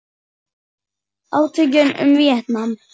Átökin um Víetnam